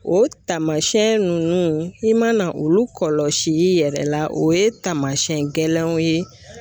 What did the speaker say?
O taamasiyɛn nunnu i mana olu kɔlɔsi i yɛrɛ la o ye taamasiyɛn gɛlɛnw ye